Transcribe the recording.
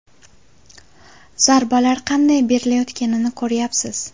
Zarbalar qanday berilayotganini ko‘ryapsiz.